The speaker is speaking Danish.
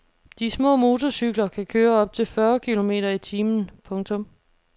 De små motorcykler kan køre op til fyrre kilometer i timen. punktum